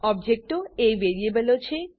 ઓબજેક્ટો એ વેરીએબલો છે